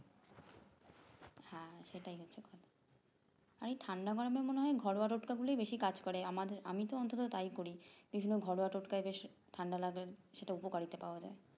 সেটাই আমি ঠান্ডা গরমে মনে হয় ঘরোয়াটোটকা গুলো বেশি কাজ করে আমাদের আমি তো অন্তত তাই করি বেশিরভাগ ঘরোয়াটোটকায় বেশ ঠান্ডা লাগে সেটা উপকারিতা পাওয়া যায়